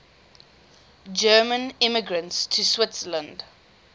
german immigrants to switzerland